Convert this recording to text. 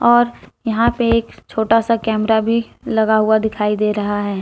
और यहां पे एक छोटा सा कैमरा भी लगा हुआ दिखाई दे रहा है।